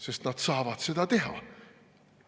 Sest nad saavad seda teha.